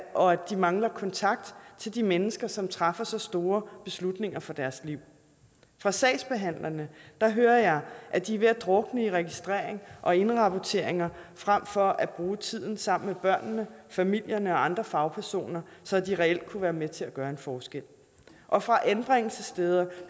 og at de mangler kontakt til de mennesker som træffer så store beslutninger for deres liv fra sagsbehandlerne hører jeg at de er ved at drukne i registrering og indrapporteringer frem for at bruge tiden sammen med børnene familierne og andre fagpersoner så de reelt kunne være med til at gøre en forskel og fra anbringelsessteder